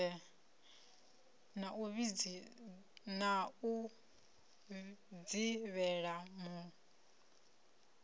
na u dzivhela mul a